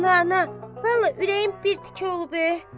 Ana, ana, vallah ürəyim bir tikə olub e.